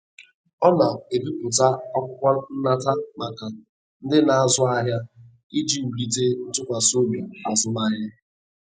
Ọ na-ebipụta akwụkwọ nnata maka ndị na-azụ ahịa, iji wulite ntụkwasị obi azụmahịa.